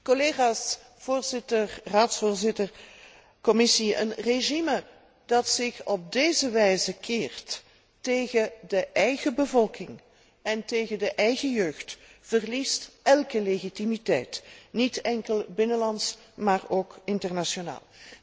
Collega's, voorzitter, Raadsvoorzitter, Commissie, een regime dat zich op deze wijze keert tegen de eigen bevolking en tegen de eigen jeugd, verliest elke legitimiteit, niet enkel binnenlands, maar ook internationaal.